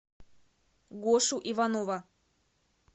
гошу иванова